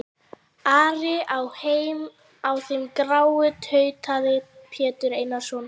Ari á þeim gráa, tautaði Pétur Einarsson.